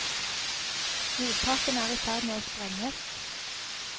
Mottakene er i ferd med å sprenges.